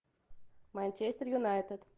манчестер юнайтед